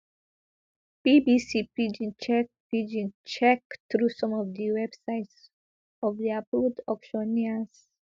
bbc pidgin check pidgin check through some of di websites of di approved auctioneers